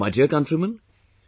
My dear countrymen,